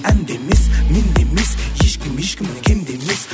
әнде емес менде емес ешкім ешкімнен кем де емес